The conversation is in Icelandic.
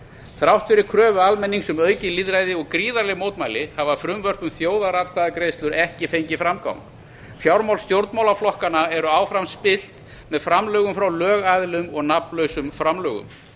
þrátt fyrir kröfu almennings um aukið lýðræði og gríðarleg mótmæli hafa frumvörp um þjóðaratkvæðagreiðslur ekki fengið framgang fjármál stjórnmálaflokkanna eru áfram styrkt með framlögum frá lögaðilum og nafnlausum framlögum